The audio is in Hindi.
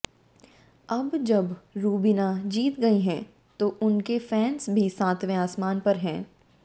अब जब रुबीना जीत गई हैं तो उनके फैंस भी सातवें आसमान पर हैं